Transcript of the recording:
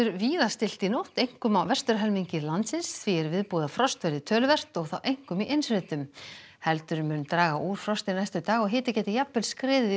víða stillt í nótt einkum á landsins því er viðbúið að frost verði töluvert og þá einkum í innsveitum heldur mun draga úr frosti næstu daga og hiti gæti jafnvel skriðið yfir